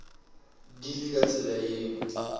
di le ka tsela yeo